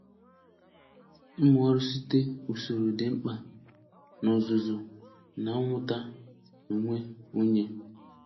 Ịmụ ọrụ site usoro dị mkpa na ọzụzụ na mmụta onwe onye.